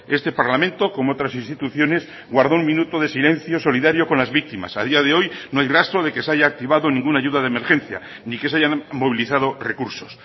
este parlamento como otras instituciones guardó un minuto de silencio solidario con las víctimas a día de hoy no hay rastro de que se haya activado ninguna ayuda de emergencia ni que se hayan movilizado recursos